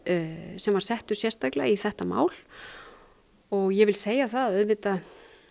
sem var settur sérstaklega í þetta mál og ég vil segja að auðvitað